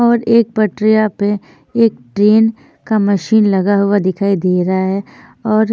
और एक पटरियां पे एक ट्रेन का मशीन लगा हुआ दिखाई दे रहा है और--